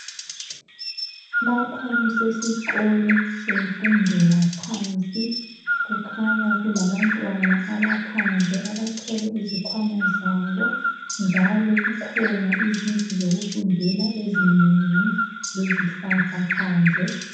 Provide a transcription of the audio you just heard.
Lapha kuqsesikolo semfundo yaphansi. Kukhanya kulabantwana abaphandle. Abathwele izikhwana zabo, njalo kukhona izindlu zokufundeqla ezinengi! Lezilhlahla phandle.